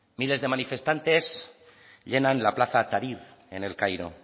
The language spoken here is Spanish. miles de manifestantes llenan la plaza tahrir en el cairo